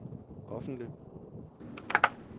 offentlig